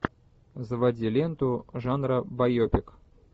заводи ленту жанра байопик